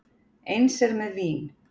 Eins er með vín.